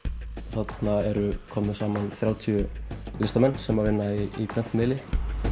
þarna eru komnir saman þrjátíu listamenn sem vinna í prentmiðli